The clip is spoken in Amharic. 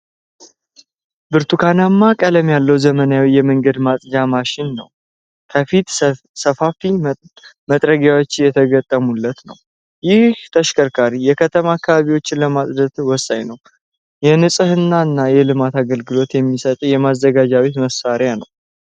ብርቱካናማ ቀለም ያለው ዘመናዊ የመንገድ ማጽጃ ማሽን ነው። ከፊት ሰፋፊ መጥረጊያዎች የተገጠሙለት ነው። ይህ ተሽከርካሪ የከተማ አካባቢዎችን ለማጽዳት ወሳኝ ነው። የንጽህና እና የልማት አገልግሎት የሚሰጥ የማዘጋጃ ቤት መሣሪያ ነው።